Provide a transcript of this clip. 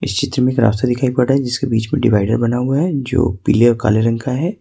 इस चित्र में एक रास्ता दिखाई पड़ रहा है जिसके बीच में डिवाइड बना हुआ है जो पीले और काले रंग का है।